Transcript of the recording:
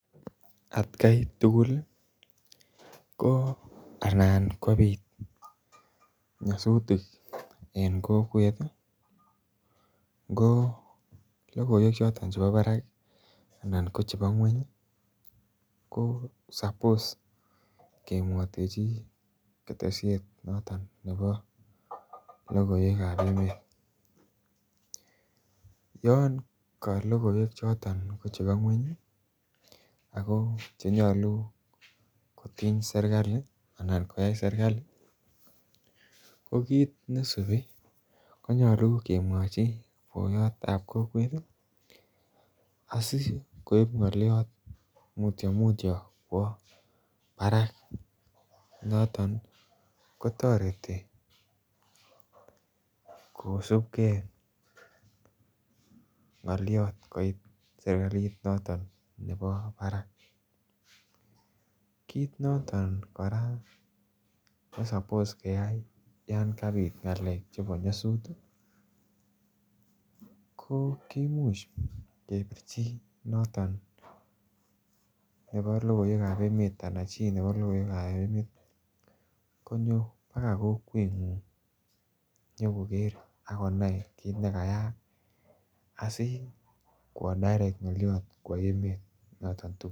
Atkai tugul ko anan kobit nyasutik en kokwet ih ko logoiwek choton chebo barak anan chebo ngueny ih ko suppose ke mwaitechi ketesyet noto nebo logoiwek kab emet. Yoon ka logoiwek choton ko chebo ngueny ih, ago chenyalu koyai serkali, ko kit neisubi konyalu kemwachi bayatab kokwet asikoib ng'aliot mutyo mutyo kwo barak. Noton kotareti, kosubke ngaliat koit serkalit noton nebo barak. Kit noton kora ne supposed keyai Yoon kabit ng'alekab nyasut ih ko ki much ke birchi noton nebalogoiwekab emeet ih . Anan chi neba logoiwekab emet konyo baga kokwet ng'ung inyokokere akonai kitnekayak, asikwatorek ng'aliot kwo emeet.